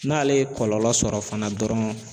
N'ale ye kɔlɔlɔ sɔrɔ fana dɔrɔn